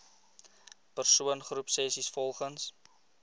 persoon groepsessies volgens